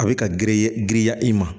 A bɛ ka girin giriya i ma